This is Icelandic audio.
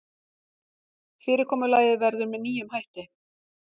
Fyrirkomulagið verður með nýjum hætti